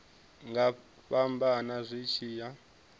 nga fhambana zwi tshi ya